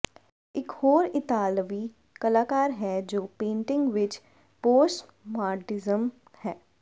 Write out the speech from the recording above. ਇਕ ਹੋਰ ਇਤਾਲਵੀ ਕਲਾਕਾਰ ਹੈ ਜੋ ਪੇਟਿੰਗ ਵਿੱਚ ਪੋਸਟਮਾਡਰਨਿਜਮ ਹੈ